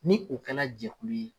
Ni o kɛla jɛkulu ye.